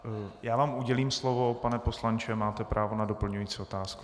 Já vám udělím slovo, pane poslanče, máte právo na doplňující otázku.